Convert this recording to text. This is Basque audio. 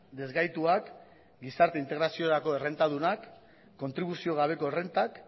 desgaituak gizarte integraziorako errentadunak kontribuzio gabeko errentak